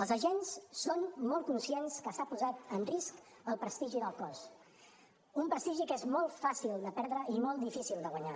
els agents són molt conscients que s’ha posat en risc el prestigi del cos un prestigi que és molt fàcil de perdre i molt difícil de guanyar